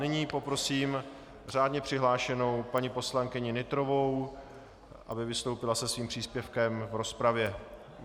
Nyní poprosím řádně přihlášenou paní poslankyni Nytrovou, aby vystoupila se svým příspěvkem v rozpravě.